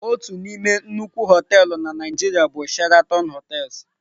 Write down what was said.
Otu n'ime nnukwu họteelụ na Nigeria bụ Sheraton hotels.